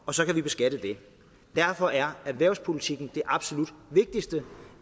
og så kan vi beskatte af det derfor er erhvervspolitikken det absolut vigtigste